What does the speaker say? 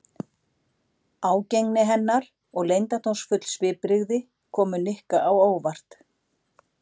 Ágengni hennar og leyndardómsfull svipbrigði komu Nikka á óvart.